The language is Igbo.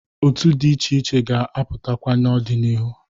Otu dị iche iche ga-apụtakwa n'ọ dị n'ihu.